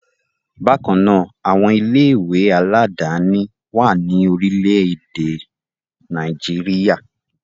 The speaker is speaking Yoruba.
Bákan náà, àwọn ilé-ìwé aládàáni wà ní orílẹ̀-èdè Nàìjíríà.